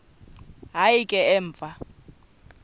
hayi ke emva